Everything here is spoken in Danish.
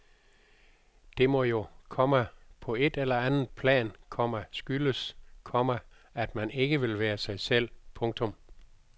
Det må jo, komma på et eller andet plan, komma skyldes, komma at man ikke vil være sig selv. punktum